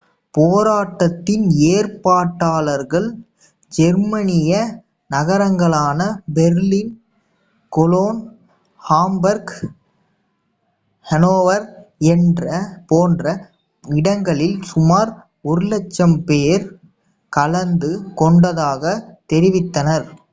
போராட்டத்தின் ஏற்பாட்டாளர்கள் ஜெர்மனிய நகரங்களான பெர்லின் கொலோன் ஹாம்பர்க் ஹனோவர் போன்ற இடங்களில் சுமார் 100,000 பேர் கலந்து கொண்டதாகத் தெரிவித்தனர்